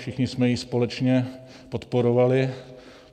Všichni jsme ji společně podporovali.